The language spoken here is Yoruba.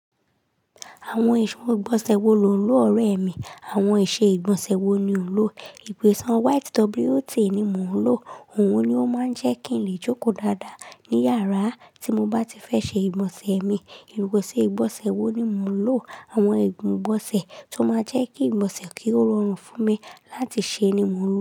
Àwọn ìṣe ìgbọ̀nsẹ̀ wo lò ń lò ọ̀rẹ́ mi, àwọn ìṣe ìgbọ̀nsẹ̀ wo ni ò ń lò? Ìpèsè white WOT ni mò ń lò, òun ni ó máa ń jẹ́ kí n lè jókòó dáadáa ní yàrá tí mo bá ti fẹ́ ṣe ìgbọ̀nsẹ̀ mi. Ìrókò ṣe ìgbọ̀nsẹ̀ wo ni mò ń lò, àwọn igun ìgbọ̀nsẹ̀ tó máa jẹ́ kí ìgbọ̀nsẹ̀ kì í rọrùn fún mi láti ṣe ni mò ń lò.